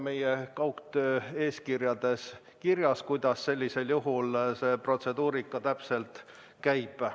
Meie kaugtöö eeskirjades on kirjas, kuidas sellisel juhul see protseduurika täpselt käib.